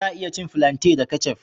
Za a iya cin filantai da kecaf